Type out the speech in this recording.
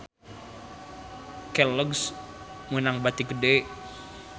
Kelloggs meunang bati gede